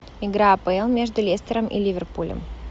игра апл между лестером и ливерпулем